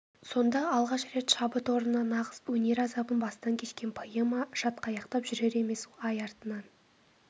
сонда алғаш рет шабыт орнына нағыз өнер азабын бастан кешкен поэма шатқаяқтап жүрер емес ай артынан